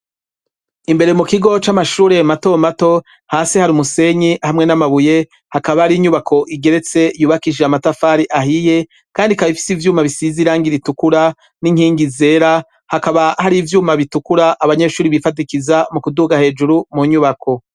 Imbere mu kigo c'amashure mato mato, hasi hari umusenyi hamwe n'amabuye, hakaba ari inyubako igeretse yubakishije amatafari ahiye, kandi ikaba ifise ivyuma bisize irangi ritukura n'inkingi zera, hakaba hari ivyuma bitukura abanyeshuri bifatikiza mu kuduga hejuru mu nyubako.